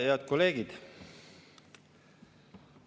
Head kolleegid!